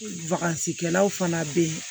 kɛlaw fana be yen